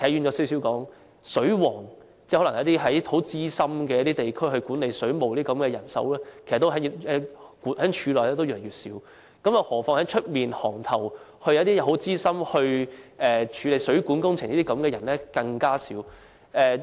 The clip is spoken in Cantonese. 我可能稍微偏離議題，簡單而言，在地區內，管理水務的資深人員俗稱"水王"，但他們在水務署內也越來越少，更何況在外界，資深水務工程人員就更少。